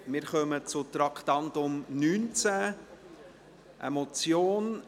Wir kommen zum Traktandum 19, einer Motion: